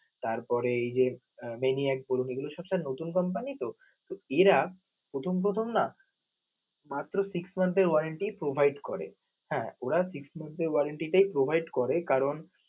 তারপরে এই যে, Maniac group এগুলো সবসময় নতুন company তো এরা প্রথম প্রথম না মাত্র six month এর warranty provide করে, হ্যা ওর six montn provide করে কারণ